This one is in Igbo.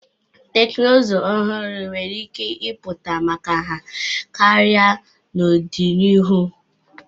Teknụzụ ọhụrụ nwere ike ịpụta maka nha karịa n'ọdịnihu.